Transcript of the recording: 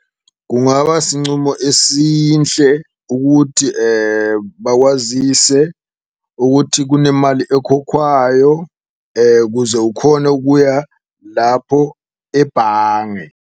Kungaba sincumo esinhle ukuthi bakwazise ukuthi kunemali ekhokhwayo kuze ukhone ukuya lapho ebhange.